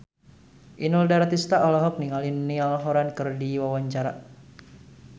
Inul Daratista olohok ningali Niall Horran keur diwawancara